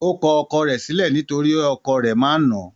Ó kọ ọkọ rẹ̀ sílẹ̀ nítorí ọkọ̀ rẹ̀ máa ń nà án.